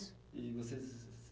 E vocês